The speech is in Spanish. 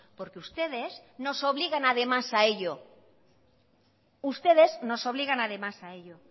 porque ustedes nos obligan además a ello ustedes nos obligan además a ello